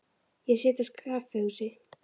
Ég sit á kaffihúsi.